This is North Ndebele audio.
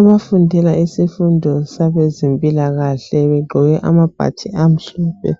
Ukufundela isifundo sabezempilakahle begqoke amabhatshi amhlophe